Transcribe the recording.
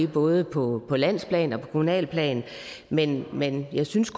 både på landsplan og på kommunalt plan men men jeg synes